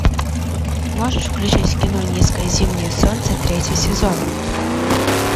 можешь включить кино низкое зимнее солнце третий сезон